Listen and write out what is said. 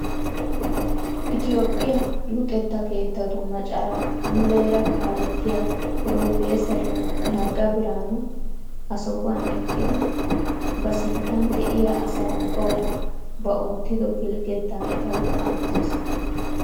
Itoophphiyaa luxettaa kettatu macaraa muleera kalettiyaa professeriyaa Nagga Biraanu ha sohuwaan eqqidi ba sinttan de'iyaa asa ubbawu ba oottido pilgettaa etawu aattees!